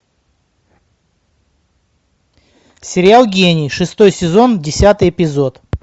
сериал гений шестой сезон десятый эпизод